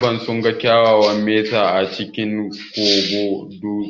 Maharba sunga ƙwayayen mesa a cikin kogon dutse